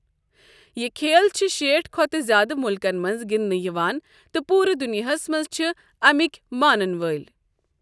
یہِ کھیل چھِ شیٹھ کھوتہٕ زیادٕ مُلکَن منٛز گنٛدٕنہٕ یِوان تہٕ پوٗرٕ دنیاہِس منٛز چھِ امیِک مانن وٲلۍ۔